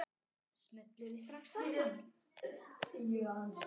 Smulluð þið strax saman?